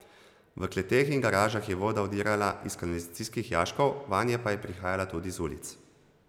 V kleteh in garažah je voda vdirala iz kanalizacijskih jaškov, vanje pa je prihajala tudi z ulic.